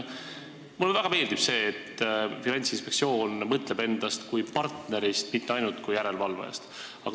Mulle väga meeldib see, et Finantsinspektsioon mõtleb endast kui partnerist, mitte ainult kui järelevalvajast.